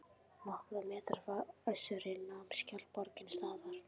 Nokkra metra frá Össuri nam skjaldborgin staðar.